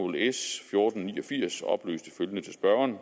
s fjorten ni og firs oplyste følgende til spørgeren